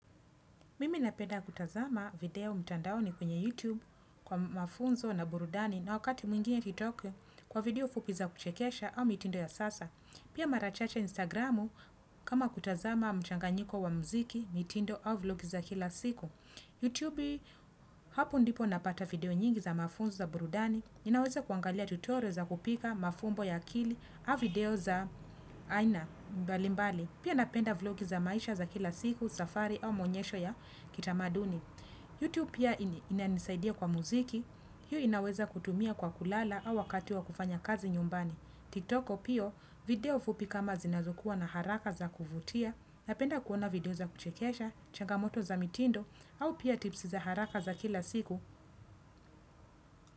Mimi napenda kutazama video mtandaoni kwenye YouTube kwa mafunzo na burudani na wakati mwingine kitoke kwa video fupi za kuchekesha au mitindo ya sasa. Pia marachache Instagramu kama kutazama mchanganyiko wa mziki mitindo au vlog za kila siku. YouTube hapo ndipo napata video nyingi za mafunzo za burudani. Ninaweza kuangalia tutorial za kupika mafunbo ya kili au video za aina mbali mbali. Pia napenda vlogi za maisha za kila siku, safari au maonyesho ya kitamaduni. YouTube pia inanisaidia kwa muziki. Hiyo inaweza kutumia kwa kulala au wakati wa kufanya kazi nyumbani. TikTok pia video fupi kama zinazokua na haraka za kuvutia. Napenda kuona video za kuchekesha, changamoto za mitindo au pia tipsi za haraka za kila siku.